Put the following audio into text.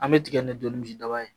An bɛ tigɛ ni dɔɔnin misi daba ye